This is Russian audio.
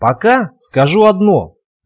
пока скажу одно